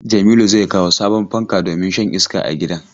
Jamilu zai kawo sabon fanka domin shan iska a gidan.